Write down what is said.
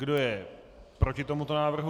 Kdo je proti tomuto návrhu?